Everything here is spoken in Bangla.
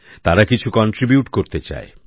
তারা কিছু অবদান রাখতে চায়